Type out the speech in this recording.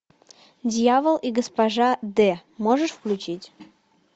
дьявол и госпожа д можешь включить